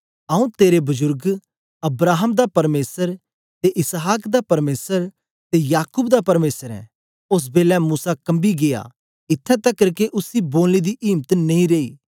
आंऊँ तेरे बजुर्ग अब्राहम दा परमेसर ते इसहाक दा परमेसर ते याकूब दा परमेसर ऐं ओस बेलै मूसा कम्बी गीया इत्त्थैं तकर के उसी बोलने दी इम्त नेई रेई